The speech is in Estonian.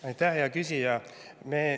Aitäh, hea küsija!